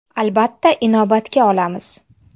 Albatta, inobatga olamiz.